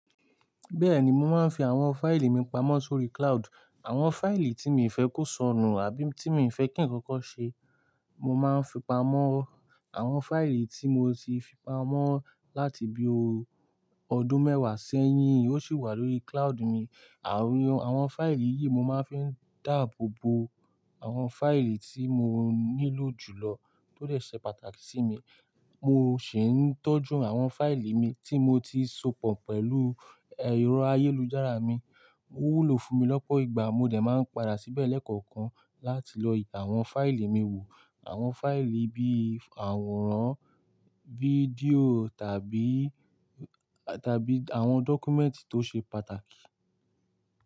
Bẹ́ẹ̀ni, mo máa ń fi àwọn fáìlì mi pamọ́ sórí cloud. Àwọn fáìlì tí mi fẹ́ kò sọnù àbí tí mi fẹ́ kí ń kókó ṣe, mo máa ń fi pamọ́. Àwọn fáìlì tí mo ti fi pamọ́ láti bí i ọdún mẹ́wàá sẹ́yìn, ó sì wà lórí cloud mi. Àwọn fáìlì yìí mo máa ń fi dáàbò bo àwọn fáìlì tí mo nílò jùlọ tó dè ṣe pàtàkì sí mi. Mo sì ń tọ́jú àwọn fáìlì mi tí mo ti sopọ̀ pẹ̀lú ẹ̀rọ ayélujára mi. Ó wúlò fún mi lọ́pọ̀ ìgbà, mo dẹ̀ máa ń padà síbẹ̀ lẹ́ẹ̀kọ̀kan láti lọ yí àwọn fáìlì mi wò. Àwọn fáìlì bí i àwòrán, fídíò tàbí, tàbí àwọn dọ́kúmẹ́ǹtì tó ṣe pàtàkì.